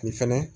Nin fɛnɛ